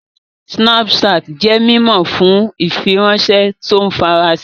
Snapchat jẹ́ mímọ̀ fún ìfiránṣẹ́ tó ń farasin